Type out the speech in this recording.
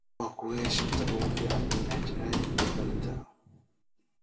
waa kuwee shanta ugu fiican n. h. l gool dhalinta